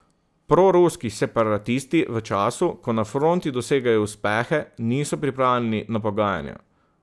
Proruski separatisti v času, ko na fronti dosegajo uspehe, niso pripravljeni na pogajanja.